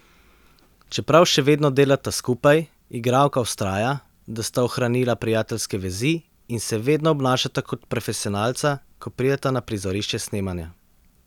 Čeprav še vedno delata skupaj, igralka vztraja, da sta ohranila prijateljske vezi in se vedno obnašata kot profesionalca, ko prideta na prizorišče snemanja.